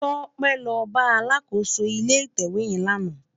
Tope lò bá àlákósó ilé itèwé yèn làná